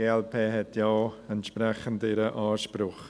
Die glp hat ja auch entsprechend ihren Anspruch.